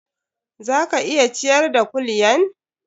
Za ka iya ciyar da kulyan?